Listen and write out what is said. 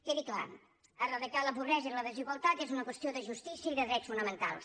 quedi clar eradicar la pobresa i la desigualtat és una qüestió de justícia i de drets fonamentals